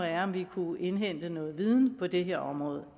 er om vi kunne indhente noget viden på det her område